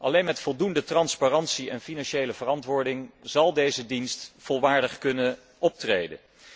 Alleen met voldoende transparantie en financiële verantwoording zal deze dienst volwaardig kunnen optreden.